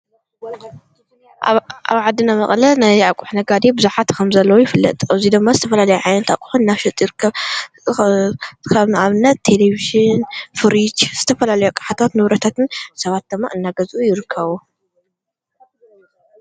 ኣብ ዓዲና መቐለ ናይ ኣቁሑ ነጋዴ ብዙሓት ከምዘለዎ ይፍለጥ። ኣብዚ ድማ ዝተፈላለየ ዓይነት ኣቁሑን እናሸጡ ይርከቡ። ከም ንኣብነት ቴሌቪዥን፣ ፍሪጅ ዝተፈላልዮ ኣቅሓታት ንብረታትን ሰባት ድማ እናገዝኡ ይርከቡ።